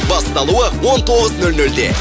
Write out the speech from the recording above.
басталуы он тоғыз нөл нөлде